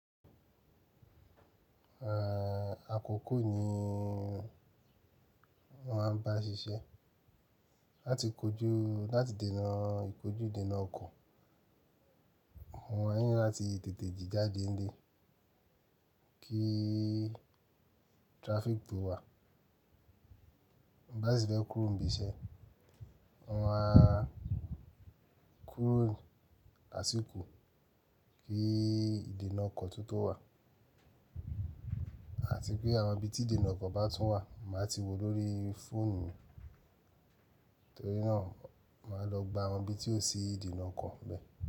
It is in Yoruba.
Àkoko ni o máa ń bá ṣiṣẹ́ láti kojú láti dènà ìkójú ìdènà ọkọ̀. Mo maa ni láti tètè jí jádé ńlé kí traffic tó wà. Bá si ti fẹ̀ kúrò ń bí iṣẹ́, mo maá kúrò lásìkò kí ìdènà ọkọ̀ tún tó wà, àti pé àwọn ibi tí ìdènà ọkọ̀ bá tún wà máa ti woo lórí fóònù. Torí náà, máa lọ gba àwọn ibi tí ò sí ìdènà ọkọ̀ nbe.